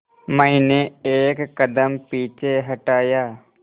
मैंने एक कदम पीछे हटाया